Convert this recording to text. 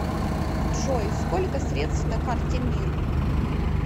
джой сколько средств на карте мир